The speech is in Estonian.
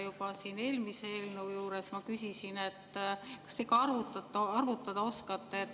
Juba eelmise eelnõu puhul ma küsisin, kas te ikka arvutada oskate.